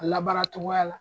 A labaara cogoya la